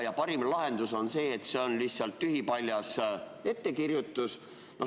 Ja parim lahendus on see, et see on lihtsalt tühipaljas ettekirjutus.